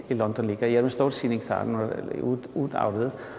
í London líka ég er með stóra sýningu þar núna út út árið